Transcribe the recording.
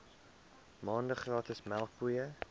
maande gratis melkpoeier